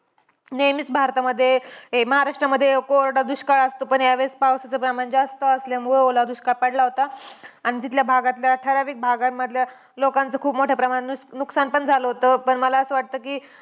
नेहमीच भारतामध्ये हे महाराष्ट्रामध्ये कोरडा दुष्काळ असतो. पण ह्यावेळेस पावसाचं प्रमाण जास्त असल्यामुळे ओला दुष्काळ पडला होता. आणि तिथल्या भागातल्या ठराविक भागांमधल्या लोकांचं खूप मोठ्या प्रमाणावर नुस नुकसान पण झालं होतं. पण मला असं वाटतं कि,